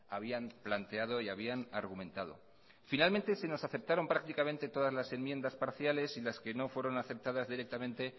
habían planteado y habían argumentado finalmente se nos aceptaron prácticamente todas las enmiendas parciales y las que no fueron aceptadas directamente